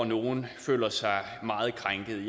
nogle føler sig meget krænkede